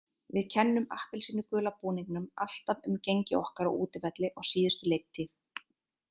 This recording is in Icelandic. Við kennum appelsínugula búningnum alltaf um gengi okkar á útivelli á síðustu leiktíð.